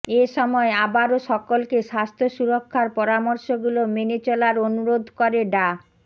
এ সময় আবারো সকলকে স্বাস্থ্য সুরক্ষার পরামর্শগুলো মেনে চলার আনুরোধ করে ডা